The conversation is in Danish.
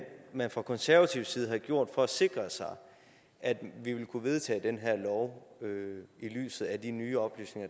man fra konservativ side har gjort for at sikre sig at vi vil kunne vedtage den her lov i lyset af de nye oplysninger